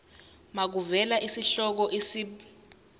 makuvele isihloko isib